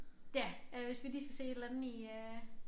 Ja øh hvis vi lige skal se et eller andet i øh